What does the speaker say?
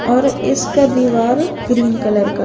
और इसका दीवार ग्रीन कलर का--